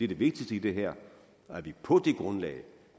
det vigtigste i det her og at vi på det grundlag